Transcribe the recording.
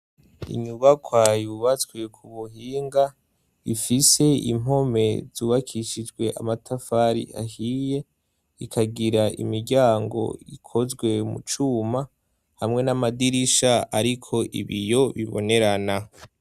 Inyubakwa yubatswe ku buhinga, ifise impome zubakishijwe amatafari ahiye, ikagira imiryango ikozwe mu cuma hamwe n'amadirisha ariko ibiyo bibonerana.